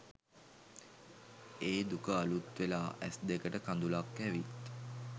ඒ දුක අලුත්වෙලා ඇස්දෙකට කදුළක් ඇවිත්